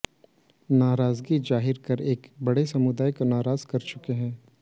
नाराजगी जाहिर कर एक बड़े समूह को नाराज कर चुके हैं